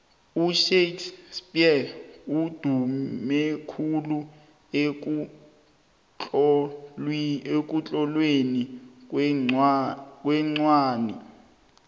ushakes spear udumekhulu ekutlolweni kwencwani